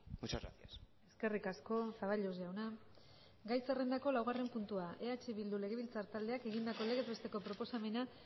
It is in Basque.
muchas gracias eskerrik asko zaballos jauna gai zerrendako laugarren puntua eh bildu legebiltzar taldeak egindako legez besteko proposamena